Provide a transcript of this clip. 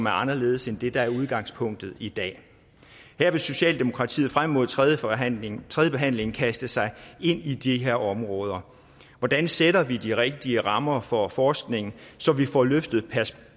er anderledes end det der er udgangspunktet i dag her vil socialdemokratiet frem mod tredjebehandlingen tredjebehandlingen kaste sig ind i de her områder hvordan sætter vi de rigtige rammer for forskningen så vi får løftet